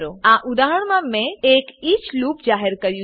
આ ઉદાહરણમાં મેં એક ઇચ ઈચ લૂપ જાહેર કર્યું છે